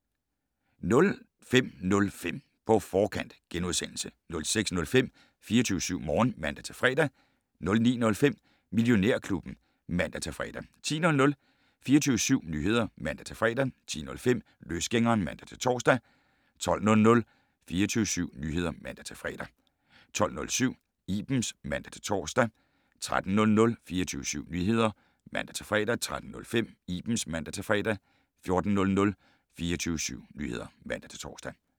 05:05: På Forkant * 06:05: 24syv Morgen (man-fre) 09:05: Millionærklubben (man-fre) 10:00: 24syv Nyheder (man-fre) 10:05: Løsgængeren (man-tor) 12:00: 24syv Nyheder (man-fre) 12:07: Ibens (man-tor) 13:00: 24syv Nyheder (man-fre) 13:05: Ibens (man-fre) 14:00: 24syv Nyheder (man-tor)